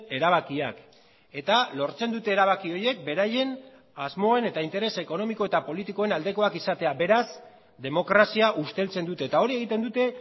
erabakiak eta lortzen dute erabaki horiek beraien asmoen eta interes ekonomiko eta politikoen aldekoak izatea beraz demokrazia usteltzen dute eta hori egiten dute